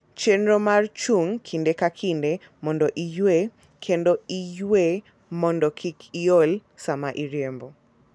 Chenro mar chung' kinde ka kinde mondo iyue kendo iywe mondo kik iol sama iriembo.